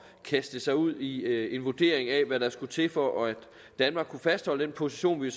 kaste sig ud i en vurdering af hvad der skulle til for at danmark kunne fastholde den position vi